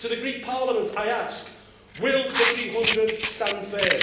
To the Greek Parliament I ask will the 300 stand firm?